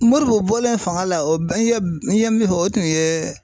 Moribo bɔlen fanga la o n ye min fɔ o tun ye